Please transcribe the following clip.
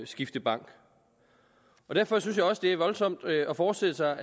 skifte bank derfor synes jeg også det er voldsomt at forestille sig